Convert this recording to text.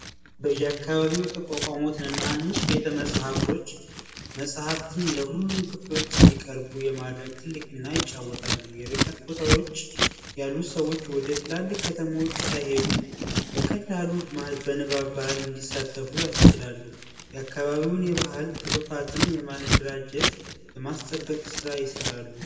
በያካባቢው የተቋቋሙ ትናንሽ ቤተመጻሕፍቶች መፅሀፍት በየ አካባቢው እንዲቀርብ ይረዳሉ። የርቀት ቦታዎች ያሉ ሰዎች ወደ ትላልቅ ከተሞች ሳይሄዱ በቀላሉ በንባብ ባህል እንዲሳተፉ ያስችላሉ። የአካባቢውን የባህል ቱሩፋትም የማደራጀት ፣የማስጠበቅ ስራ ይሰራሉ።